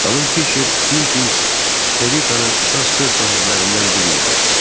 Xanım Fisher Sunpings elitanın əsas söz sahiblərindən biri idi.